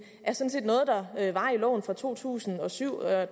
er der var i loven fra to tusind og syv og